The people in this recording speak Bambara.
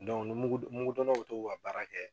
ni mugu mugu donnaw bɛ t'u ka baara kɛ